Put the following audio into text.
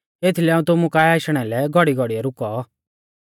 एथीलै हाऊं तुमु काऐ आशणै लै घौड़ीघौड़ी रुकौ